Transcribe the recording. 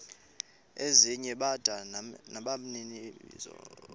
ezinye bada nabaninizo